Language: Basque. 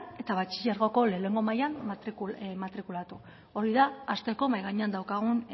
eta batxilergoko lehenengo mailan matrikulatu hori da hasteko mahai gainean daukagun